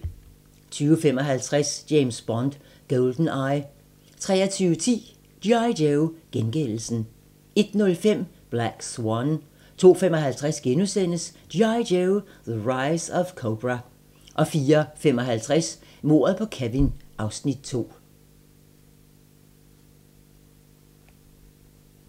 20:55: James Bond: GoldenEye 23:10: G.I. Joe: Gengældelsen 01:05: Black Swan 02:55: G.I. Joe: The Rise of Cobra * 04:55: Mordet på Kevin (Afs. 2)